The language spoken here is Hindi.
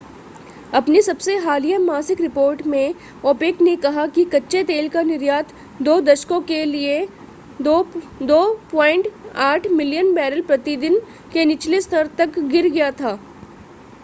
अपनी सबसे हालिया मासिक रिपोर्ट में ओपेक ने कहा कि कच्चे तेल का निर्यात दो दशकों के लिए 2.8 मिलियन बैरल प्रति दिन के निचले स्तर तक गिर गया था